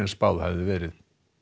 spáð hafi verið